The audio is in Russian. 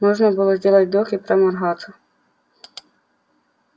можно было сделать вдох и проморгаться